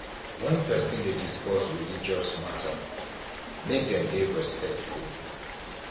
when person dey discuss religious matter make dem dey respectful